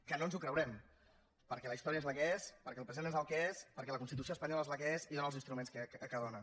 que no ens ho creurem perquè la història és la que és perquè el present és el que és perquè la constitució espanyola és la que és i dóna els instruments que dóna